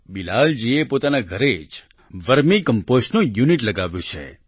બિલાલ જીએ પોતાના ઘરે જ વર્મી કમ્પોસ્ટનું યુનિટ લગાવ્યું છે